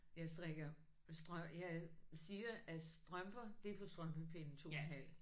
Jeg strikker jeg siger at strømper det er på strømpepinde 2 en halv